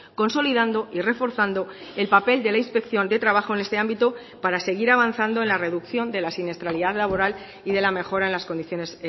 consolidando y reforzando el papel de la inspección de trabajo en este ámbito para seguir avanzando en la reducción de la siniestralidad laboral y de la mejora en las condiciones